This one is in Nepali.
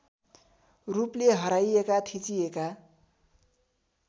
रूपले हराइएका थिचिएका